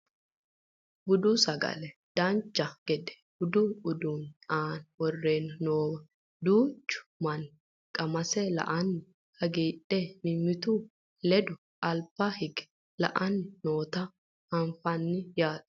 budu sagale dancha gede budu uduunni aana worreenna noowa duuchu manni qamase la"anni hagiidhe mimmitu ledo alba hige la"anni noota anafanni yaate